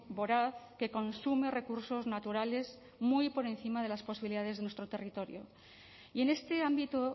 voraz que consume recursos naturales muy por encima de las posibilidades de nuestro territorio y en este ámbito